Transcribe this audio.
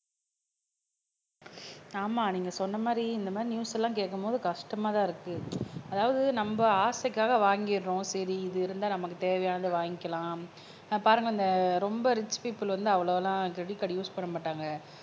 ஆமா நீங்க சொன்ன மாதிரி இந்த மாதிரி நியூஸ் எல்லாம் கேட்கும்போது கஷ்டமாதான் இருக்கு அதாவது நம்ம ஆசைக்காக வாங்கிடுறோம் சரி இது இருந்தா நமக்கு தேவையானதை வாங்கிக்கலாம் ஆஹ் பாருங்க இந்த ரொம்ப ரிச் பீப்புல் வந்து அவ்ளவாலாம் கிரெடிட் கார்டு யூஸ் பண்ண மாட்டாங்க